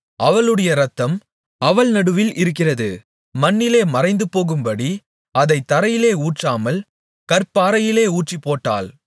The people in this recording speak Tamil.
அவளுடைய இரத்தம் அவள் நடுவில் இருக்கிறது மண்ணிலே மறைந்துபோகும்படி அதைத் தரையிலே ஊற்றாமல் கற்பாறையிலே ஊற்றிப்போட்டாள்